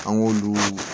An k'olu